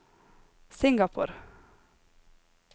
Singapore